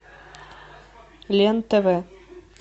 лен тв